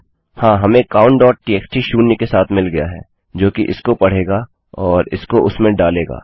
हाँ हमें countटीएक्सटी शून्य के साथ मिल गया है जोकि इसको पढ़ेगा और इसको उसमें डालेगा